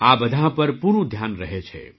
આ બધાં પર પૂરું ધ્યાન રહે છે